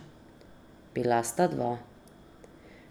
Bila sta dva.